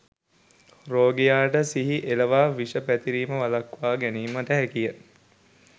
රෝගියා ට සිහි එළවා විෂ පැතිරීම වළක්වා ගැනීමට හැකිය